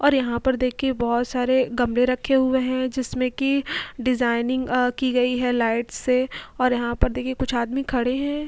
और यहाँ पर देखिए बोहोत सारे गमले रखे हुए हैं जिसमें कि डिज़ाइनिंग अ की गई हैं लाइट से और यहाँ पर देखिए कुछ आदमी खड़े हैं।